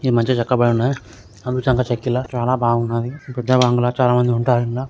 ఈ మధ్య చక్కబఉన్న చెక్కిళ్ళ చాలా బాగున్నాయి. కొత్తబంగ్లా చాలామంది ఉంటారు ఇండ్ల--